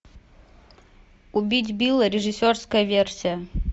убить билла режиссерская версия